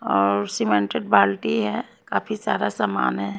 और सीमेंटेड बाल्टी है काफी सारा सामान है।